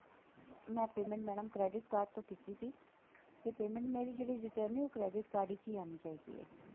ਮੈਂ payment madam credit card ਤੋਂ ਕੀਤੀ ਸੀ ਤੇ payment ਮੇਰੀ ਜਿਹੜੀ return ਹੈ ਉਹ credit card ਵਿੱਚ ਹੀ ਆਣੀ ਚਾਹੀਦੀ ਹੈ